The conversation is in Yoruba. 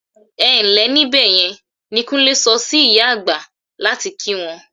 "Ẹ ǹ lẹ́ níbẹ̀ yẹn" ni Kúnlé sọ sí ìyá àgbà láti kí wọn.